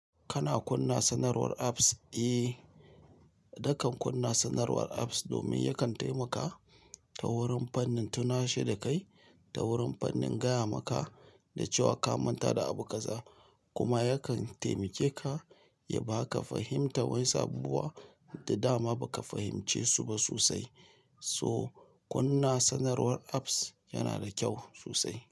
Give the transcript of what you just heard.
Kana kunna sanarwar apps? Eh, nakan kunna sanarwar apps domin yakan taimaka ta wurin fannin tunashe da kai, ta wurin fannin gaya maka da cewa ka manta da abu kaza kuma yakan taimake ka ya baka fahimta wasu abubuwa. Da dama baka fahimce su ba sosai. So kunna sanarwar apps yana da kyau sosai.